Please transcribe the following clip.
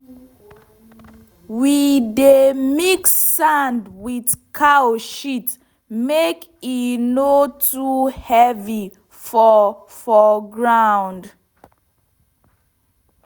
we dey mix sand with cow shit make e no too heavy for for ground.